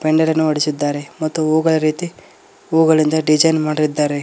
ಮೈಂಡಾರನ್ನು ಹೊಡ್ಸಿದ್ದಾರೆ ಮತ್ತು ಹೂಗಳ ರೀತಿ ಹೂಗಳಿಂದ ಡಿಸೈನ್ ಮಾಡಿದ್ದಾರೆ.